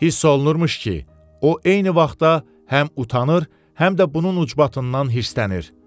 Hiss olunurmuş ki, o eyni vaxtda həm utanır, həm də bunun ucbatından hiddənir.